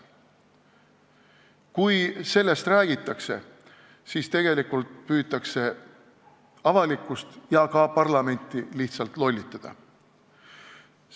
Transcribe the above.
Kui sellest räägitakse, siis püütakse avalikkust ja ka parlamenti lihtsalt lollitada.